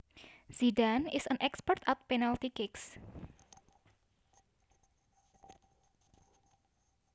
Zidane is an expert at penalty kicks